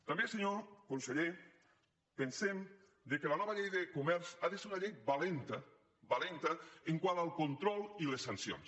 també senyor conseller pensem que la nova llei de comerç ha de ser una llei valenta valenta quant al control i les sancions